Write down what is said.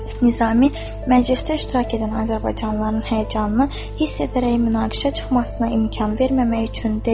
Nizami məclisdə iştirak edən azərbaycanlıların həyəcanını hiss edərək münaqişə çıxmasına imkan verməmək üçün dedi.